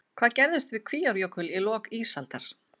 Hvað gerðist við Kvíárjökul í lok ísaldar?